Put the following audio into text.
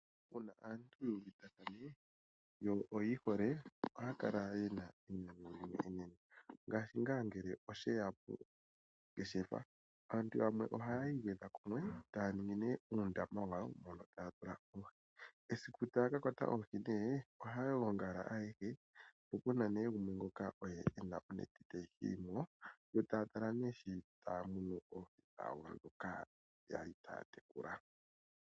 Uuna omuntu yu uvitathane, yo oyi hole, ohaya kala ye na enyanyu enene. Ngaashi ngaa ngele oshe ya poongeshefa. Aantu yamwe ohayi igwedha kumwe etaa ningi nee uundama wawo, taya tula mo oohi. Esiku taa ka kwata oohi nee, ohaya gongala ayehe, po pu na nee gumwe ngoka oye e na onete tayi hili mo, to taa kala nee taa munu oohi dhawo ndhoka ya li taa tekula.